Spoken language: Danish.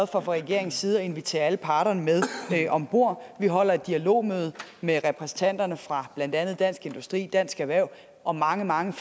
regeringens side at invitere alle parter med om bord vi holder et dialogmøde med repræsentanter fra blandt andet dansk industri dansk erhverv og mange mange